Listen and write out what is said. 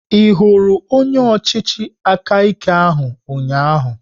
Ị hụrụ onye ọchịchị aka ike ahụ ụnyaahụ?